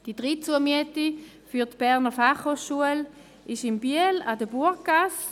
Die dritte Zumiete für die Berner Fachhochschule (BFH) liegt in Biel an der Burggasse.